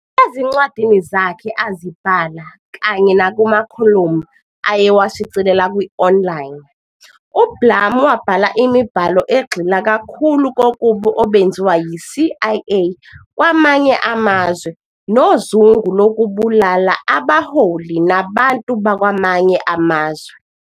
Ezincwadini zakhe azibhala kanye nakumakholomu ayewashicilela kwi-online, uBlum wabhala imibhalo egxila kakhulu kububi obenziwa yi-CIA kwamanye amazwe nozungu lokubulala abaholi nabantu bakwamanye amazwe.